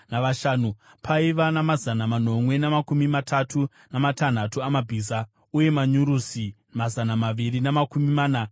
Paiva namazana manomwe namakumi matatu namatanhatu amabhiza, uye manyurusi mazana maviri namakumi mana nemashanu,